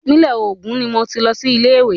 Ìpínlẹ̀ Ògùn ni mo ti lọ sí ilé ìwé.